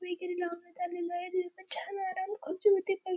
वगैरे लावण्यात आलेलं आहे छान आराम खुर्ची होती प --